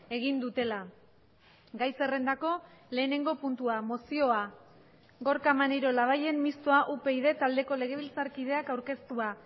egin dutela gai zerrendako lehenengo puntua mozioa gorka maneiro labayen mistoa upyd taldeko legebiltzarkideak aurkeztua